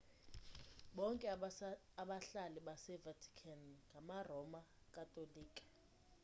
bonke abahlali base-vatican ngama-roma katolika